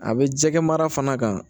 A bɛ jɛgɛ mara fana